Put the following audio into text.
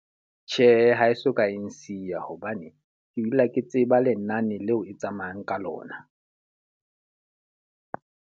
Tjhe, ha e soka e nsiya. Hobane ke dula ke tseba lenane leo e tsamayang ka lona.